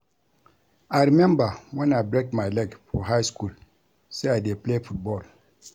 I remember wen I break my leg for high school say I dey play football